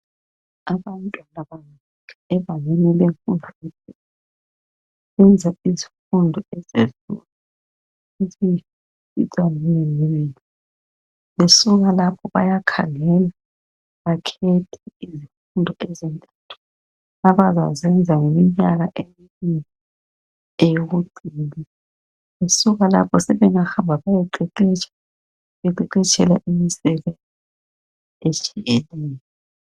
Abantwana ebangeni lemfundo Benza izifundo ezinenginengi. Besuka kapho bayakhangela. Bakhethe izifundo ezintathu abazazenza iminyaka emibili, eyokucina. Besuka lapho sebengahamba bayeqeqetsha. Beqeqetshelwa imisebenzi etshiyeneyo.